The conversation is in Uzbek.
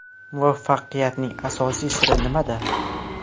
Muvaffaqiyatning asosiy siri nimada?